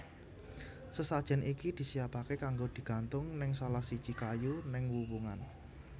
Sesajen iki disiapake kanggo digantung neng salahsiji kayu neng wuwungan